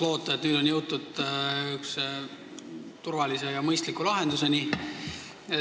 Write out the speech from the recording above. Loodame, et nüüd on jõutud turvalise ja mõistliku lahenduseni.